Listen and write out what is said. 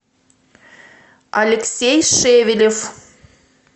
алексей шевелев